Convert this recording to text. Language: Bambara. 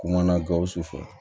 Kumana gawusu fɛ